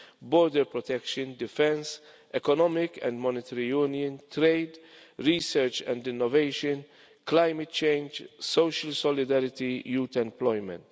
border protection, defence, economic and monetary union, trade, research and innovation, climate change, social solidarity, youth and employment.